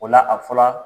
O la a fɔra